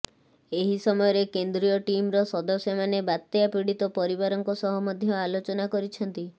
ଏହି ସମୟରେ କେନ୍ଦ୍ରୀୟ ଟିମର ସଦସ୍ୟମାନେ ବାତ୍ୟା ପୀଡିତ ପରିବାରଙ୍କ ସହ ମଧ୍ୟ ଆଲୋଚନା କରିଛନ୍ତି